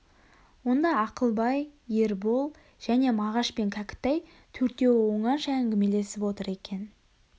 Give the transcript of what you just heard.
онда ақылбай ербол және мағаш пен кәкітай төртеуі оңаша әңгімелесіп отыр екен